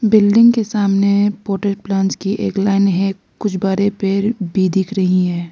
Building के सामने portal plants की लाइन है कुछ बड़े पेड़ भी दिख रही हैं।